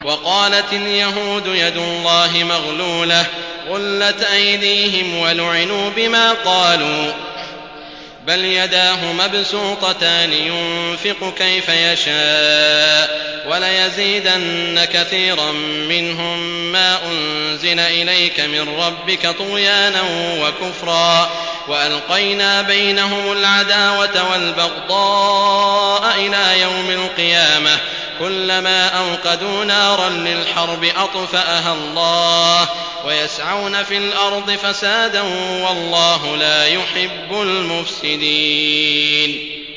وَقَالَتِ الْيَهُودُ يَدُ اللَّهِ مَغْلُولَةٌ ۚ غُلَّتْ أَيْدِيهِمْ وَلُعِنُوا بِمَا قَالُوا ۘ بَلْ يَدَاهُ مَبْسُوطَتَانِ يُنفِقُ كَيْفَ يَشَاءُ ۚ وَلَيَزِيدَنَّ كَثِيرًا مِّنْهُم مَّا أُنزِلَ إِلَيْكَ مِن رَّبِّكَ طُغْيَانًا وَكُفْرًا ۚ وَأَلْقَيْنَا بَيْنَهُمُ الْعَدَاوَةَ وَالْبَغْضَاءَ إِلَىٰ يَوْمِ الْقِيَامَةِ ۚ كُلَّمَا أَوْقَدُوا نَارًا لِّلْحَرْبِ أَطْفَأَهَا اللَّهُ ۚ وَيَسْعَوْنَ فِي الْأَرْضِ فَسَادًا ۚ وَاللَّهُ لَا يُحِبُّ الْمُفْسِدِينَ